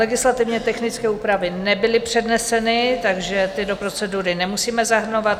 Legislativně technické úpravy nebyly předneseny, takže ty do procedury nemusíme zahrnovat.